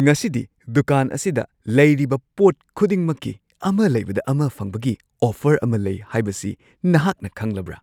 ꯉꯁꯤꯗꯤ ꯗꯨꯀꯥꯟ ꯑꯁꯤꯗ ꯂꯩꯔꯤꯕ ꯄꯣꯠ ꯈꯨꯗꯤꯡꯃꯛꯀꯤ ꯑꯃ ꯂꯩꯕꯗ ꯑꯃ ꯐꯪꯕꯒꯤ ꯑꯣꯐꯔ ꯑꯃ ꯂꯩ ꯍꯥꯏꯕꯁꯤ ꯅꯍꯥꯛꯅ ꯈꯪꯂꯕ꯭ꯔꯥ?